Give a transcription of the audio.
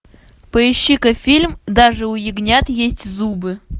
поищи ка фильм даже у ягнят есть зубы